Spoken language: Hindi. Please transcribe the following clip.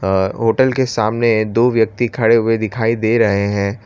अ होटल के सामने दो व्यक्ति खड़े हुए दिखाई दे रहे हैं।